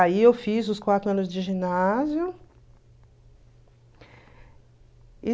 Aí eu fiz os quatro anos de ginásio.